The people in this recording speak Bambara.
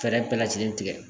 Fɛɛrɛ bɛɛ lajɛlen tigɛ